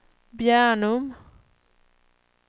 Bjärnum